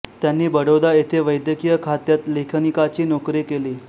त्यांनी बडोदा येथे वैद्यकीय खात्यात लेखनिकाची नोकरी केली